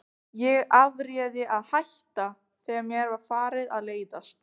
Ég afréð að hætta, þegar mér var farið að leiðast.